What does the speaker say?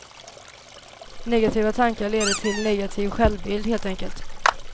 Negativa tankar leder till negativ självbild, helt enkelt.